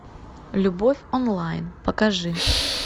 любовь онлайн покажи